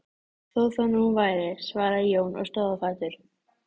Þó það nú væri, svaraði Jón og stóð á fætur.